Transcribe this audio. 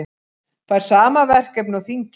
Fær sama verkefni og þingið